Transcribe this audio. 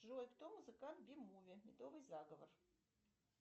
джой кто музыкант би муви медовый заговор